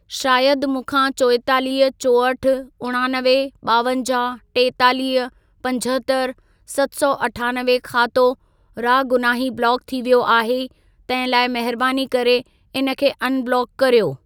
शायद मूंखां चोएतालीह, चोहठि, उणानवे, ॿावंजाहु, टेतालीह, पंजहतरि, सत सौ अठानवे खातो रागुनाही ब्लॉक थी वियो आहे. तहिं लाइ महिरबानी करे इन खे अनब्लॉक कर्यो।